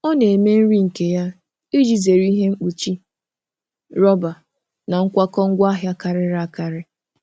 Ọ na-eme nri nke ya iji zere ihe mkpuchi rọba na nkwakọ ngwaahịa karịrị akarị.